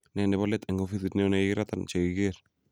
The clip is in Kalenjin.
Ne nebo let eng ofisit neo nekikiratan chekikiger.